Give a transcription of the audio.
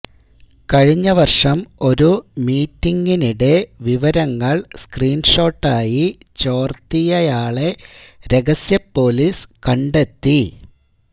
കഴിഞ്ഞ വര്ഷം ഒരു മീറ്റിങ്ങിനിടെ വിവരങ്ങള് സ്ക്രീന്ഷോട്ടായി ചോര്ത്തിയയാളെ രഹസ്യപൊലീസ് കണ്ടെത്തി